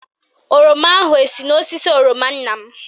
Oroma ahụ esi n'osisi oroma nna m?